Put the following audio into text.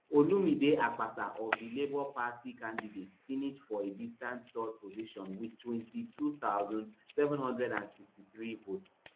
olumide akpata of di labour party candidate finish for a distant third position wit twenty-two thousand, seven hundred and sixty-three votes